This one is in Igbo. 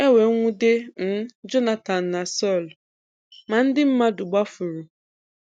E wee nwude um Jonatan na Sọl: ma ndi mmadụ gbafuru.